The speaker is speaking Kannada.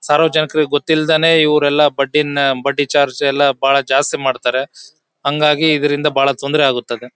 ಸಾರ್ವಜನಿಕರಿಗೆ ಗೊತ್ತಿಲ್ದೇನೆ ಇವ್ರೆಲ್ಲಾ ಬಡ್ಡಿನ್ ಬಡ್ಡಿ ಚಾರ್ಜ್ ಎಲ್ಲಾ ಬಹಳ ಜಾಸ್ತಿ ಮಾಡ್ತಾರೆ ಹಂಗಾಗಿ ಇದ್ರಿಂದ ಬಹಳ ತೊಂದ್ರೆ ಆಗುತ್ತದೆ.